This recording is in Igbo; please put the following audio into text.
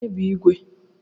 Onye bu igwe?